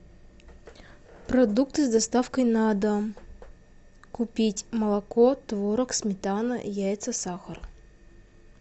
продукты с доставкой на дом купить молоко творог сметана яйца сахар